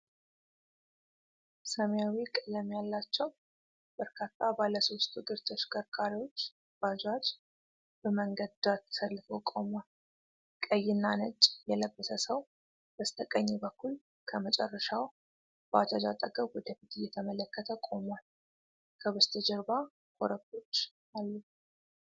ሰማያዊ ቀለም ያላቸው በርካታ ባለሶስት እግር ተሽከርካሪዎች (ባጃጅ) በመንገድ ዳር ተሰልፈው ቆመዋል። ቀይና ነጭ የለበሰ ሰው በስተቀኝ በኩል ከመጨረሻው ባጃጅ አጠገብ ወደ ፊት እየተመለከተ ቆሟል። ከበስተጀርባ ኮረብታዎች አሉ።